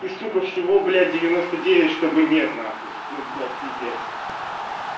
и сука всего блять девяносто девять чтобы нет нахуй ну блять пиздец